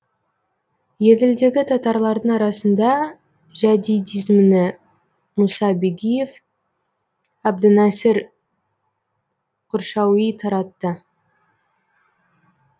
еділдегі татарлардың арасында жәдидизмні мұса бигиев әбдінәсір құршауи таратты